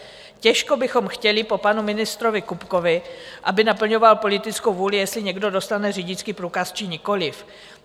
Těžko bychom chtěli po panu ministrovi Kupkovi, aby naplňoval politickou vůli, jestli někdo dostane řidičský průkaz, či nikoliv.